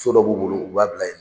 So dɔ b'u bolo u b'a bila ye.